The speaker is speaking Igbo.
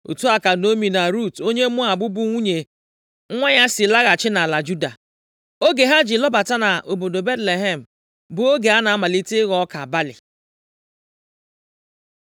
Otu a ka Naomi na Rut onye Moab bụ nwunye nwa ya si laghachi nʼala Juda. Oge ha ji lọbata nʼobodo Betlehem bụ oge a na-amalite ịghọ ọka balị. + 1:22 Nʼoge owuwe ihe ubi, ọka balị bụ ihe ubi mbụ a na-eweta, mgbe izu ụka ole na ole gasịrị, ọ bụrụ oge owuwe ihe ubi wiiti. \+xt Rut 2:23; 2Sa 21:9\+xt*